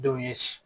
Denw ye